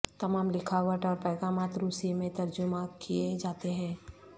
تمام لکھاوٹ اور پیغامات روسی میں ترجمہ کیے جاتے ہیں